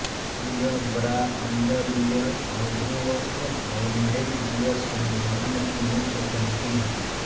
यह bra underwear अधोवस्त्र और नाइटवियर सहित ब्रांड की मुख्य पंक्ति है